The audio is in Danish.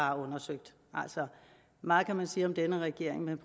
har undersøgt altså meget kan man sige om denne regering men